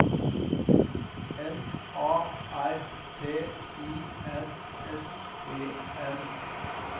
M A R T I N S E N